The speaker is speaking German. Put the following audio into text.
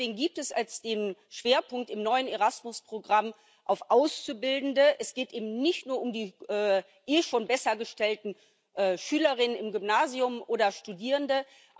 Deswegen liegt der Schwerpunkt im neuen Erasmus Programm auf den Auszubildenden. Es geht eben nicht nur um die sowieso schon besser gestellten Schülerinnen im Gymnasium oder Studierende.